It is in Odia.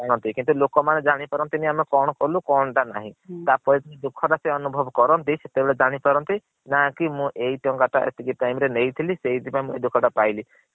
କିନ୍ତୁ ଲୋକ ମାନେ ଜାଣି ପରନତିନୀ ଆମେ କଣ କଲୁ କଣ ନାଁହି ତା ପରେ ଦୁଖ ଟା ସିଏ ଅନୁଭବ୍ କରନ୍ତି ସେତବେଳେ ଜନିପାରନ୍ତି ନା ଏଇ ଟଙ୍କା ଟା ମୁଁ ଏତିକି ବେଳେ ନେଇଥିଲି ସେଇଥୀ ପାଇଁ ମୁ ଏଇ ଧୋକା ଟା ପାଇଲି ।